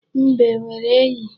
Mbe e nwere enyi?